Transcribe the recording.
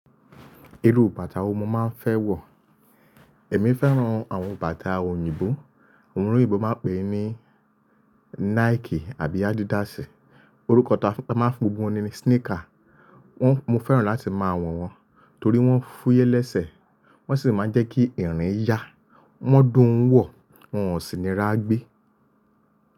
Irú bàtà wọ mọ máa ń fẹ́ wọ̀. Ẹ̀mí fẹ́ràn àwọn bàtà òyìnbó. Àwọn olòyìnbó máa ń pè é ní Nike àbí Adidas. Orúkọ tá a máa ń pe gbogbo wọn ni sneaker. Wọ́n, mo fẹ́ràn láti máa wọ̀ wọ́n torí wọ́n fúyẹ́ lẹ́sẹ̀, wọ́n sì máa ń jẹ́ kí ìrìn ya, wọ́n dùn ún wọ̀, wọ́n ò sì ní rá gbé.